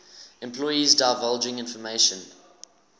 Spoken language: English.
employees divulging information